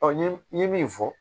n ye n ye min fɔ